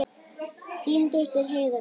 Þín dóttir Heiða Björk.